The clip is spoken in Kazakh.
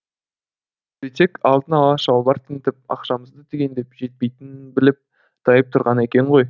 сөйтсек алдын ала шалбар тінтіп ақшамызды түгендеп жетпейтінін біліп тайып тұрған екен ғой